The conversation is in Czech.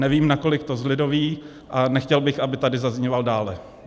Nevím, nakolik to zlidoví, a nechtěl bych, aby tady zazníval dále.